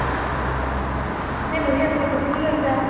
এনে বহি আছো। তুমি কি কৰিছা?